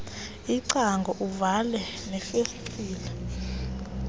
iingcango uvale neefestile